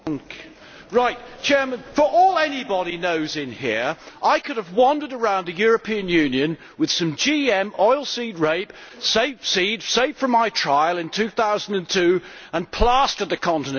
Mr President, for all anybody knows in here, I could have wandered around the European Union with some GM oilseed rape, with seed saved from my trial in 2002, and plastered the continent with it.